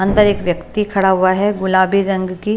अंदर एक व्यक्ति खड़ा हुआ है गुलाबी रंग की।